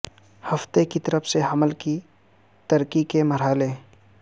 ہفتے کی طرف سے حمل کی ترقی کے مرحلے